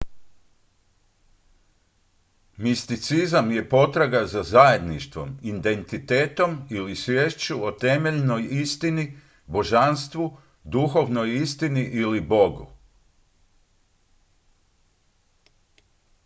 misticizam je potraga za zajedništvom identitetom ili sviješću o temeljnoj istini božanstvu duhovnoj istini ili bogu